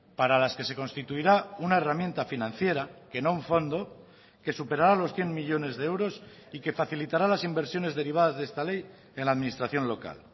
para las que se constituirá una herramienta financiera que no un fondo que superará los cien millónes de euros y que facilitará las inversiones derivadas de esta ley en la administración local